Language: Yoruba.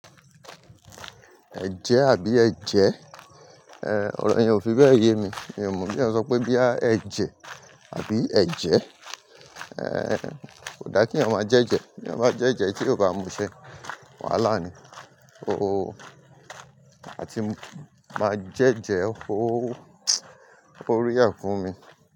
Ẹ̀jẹ àbí ẹ́jẹ, ẹ, ọ̀rọ̀ ènìyàn ò fi bẹ́ẹ̀ ye mi, mi ò mọ̀ bí wọ́n ṣe ọ́n pé bí à ẹ́jẹ àbí ẹ̀jẹ. Ẹ, kò da kí ẹ̀yàn máa jẹ́jẹ, bí ẹ̀yàn bá jẹ́jẹ tí ó bá múṣẹ́, wàhálà ni. Ó, àti máa jẹ́jẹ ó, ó rare fún mi.